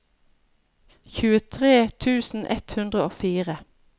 tjuetre tusen ett hundre og fire